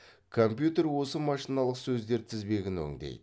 компьютер осы машиналық сөздер тізбегін өңдейді